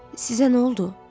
Sizə nə oldu?